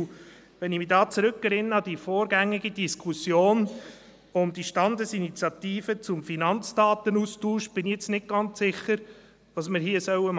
Und wenn ich mich da zurückerinnere an die vorgängige Diskussion um die Standesinitiative zumFinanzdatenaustausch bin ich jetzt nicht ganz sicher, was wir hier tun